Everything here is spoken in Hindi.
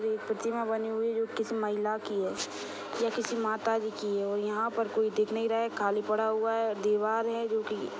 एक प्रतिमा बनी हुई है जो की महिला की है या किसी माताजी की है। यहा पर कोई दिख नहीं रहा है। खाली पडा हुआ है। दिवार है जो कि --